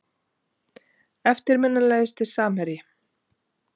Eftirminnilegasti samherji?